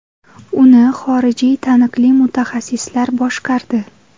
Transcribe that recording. Uni xorijiy taniqli mutaxassislar boshqardi.